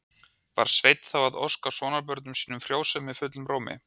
Var Sveinn þá að óska sonarbörnum sínum frjósemi fullum rómi.